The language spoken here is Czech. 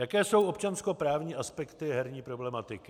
Jaké jsou občanskoprávní aspekty herní problematiky?